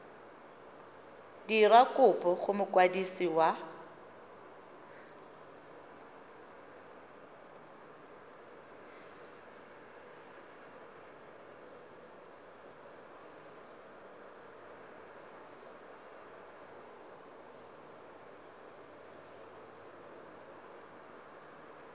dira kopo go mokwadisi wa